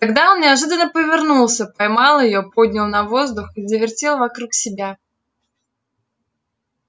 тогда он неожиданно повернулся поймал её поднял на воздух и завертел вокруг себя